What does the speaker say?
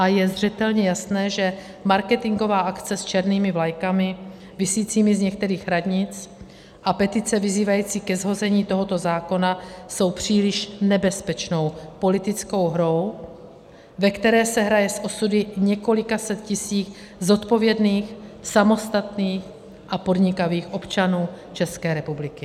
A je zřetelně jasné, že marketingová akce s černými vlajkami visícími z některých radnic a petice vyzývající ke shození tohoto zákona jsou příliš nebezpečnou politickou hrou, ve které se hraje s osudy několika set tisíc zodpovědných, samostatných a podnikavých občanů České republiky.